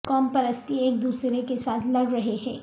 قوم پرستی ایک دوسرے کے ساتھ لڑ رہے ہیں